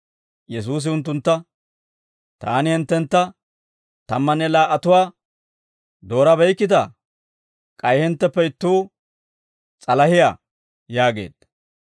Yesuusi unttuntta, «Taani hinttentta tammanne laa"atuwaa doorabeykkitaa? K'ay hintteppe ittuu s'alahiyaa» yaageedda.